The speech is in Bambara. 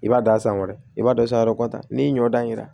I b'a da a sanfɛ i b'a dɔ san wɛrɛ kɔta n'i ɲɔ dan